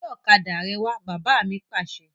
Gbe ọ̀kadà rẹ wà! Bàbá mi Pàṣẹ!